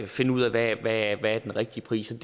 finde ud af hvad den rigtige pris er